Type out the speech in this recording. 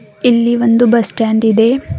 ಇಲ್ಲಿ ಒಂದು bus stand ಇದೆ.